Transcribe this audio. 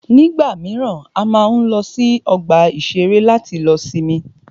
Nígbà míràn, a máa ń lọ sí ọgbà ìṣẹ̀rẹ́ láti lọ sinmi.